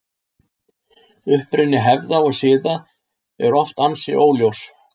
Uppruni hefða og siða er oft ansi óljós.